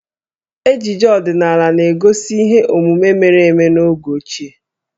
Ejije ọdinaala na-egosi ihe omume mere eme n'oge ochie.